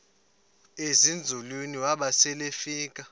ezinzulwini waba selefika